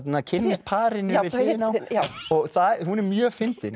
kynnist parinu við hliðina á hún er mjög fyndin